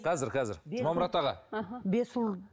қазір қазір жұмамұрат аға іхі бес ұл